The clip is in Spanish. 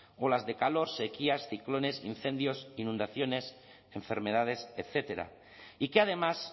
olas de calor sequías ciclones incendios inundaciones enfermedades etcétera y que además